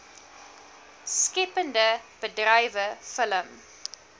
skeppende bedrywe film